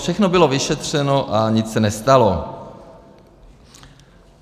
Všechno bylo vyšetřeno a nic se nestalo.